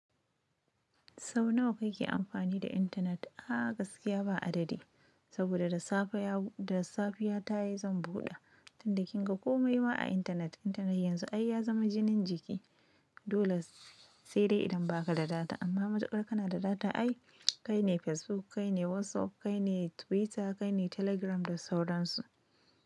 Sau nawa kake amfani da intanet? A gaskiya ba adadi, saboda da safe ya tayi zan buɗa. Tunda kin ga komai ma a intanet, intanet yanzu ai ya zama jinin jiki. Dole sai dai idan ba ka da data amma matukar ka na da data ai kai ne Facebook, kai ne WhatsApp, kai ne Twitter, kai ne Telegram da sauran su.